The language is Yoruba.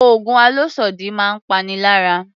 Oògùn àlòsódì máa ń pani lára